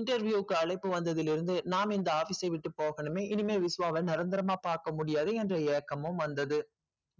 interview க்கு அழைப்பு வந்ததிலிருந்து இந்த office விட்டு போகணுமே இனிமே விஸ்வ வ நிரந்தரமா பாக்கமுடியாது என்று ஏக்கமும் வந்தது